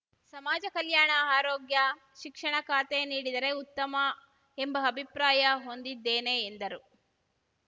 ಸಮಾಜ ಕಲ್ಯಾಣ ಆರೋಗ್ಯ ಶಿಕ್ಷಣ ಖಾತೆ ನೀಡಿದರೆ ಉತ್ತಮ ಎಂಬ ಅಭಿಪ್ರಾಯ ಹೊಂದಿದ್ದೇನೆ ಎಂದರು